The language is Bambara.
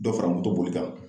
Dɔ fara moto boli kan.